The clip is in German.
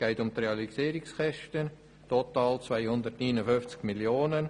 Es geht um die Realisierungskosten von total 259 Mio. Franken.